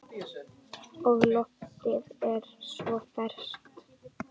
Og loftið er svo ferskt.